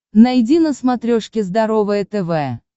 найди на смотрешке здоровое тв